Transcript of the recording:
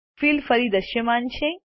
field ફરી દૃશ્યમાન છે